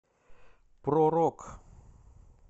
про рок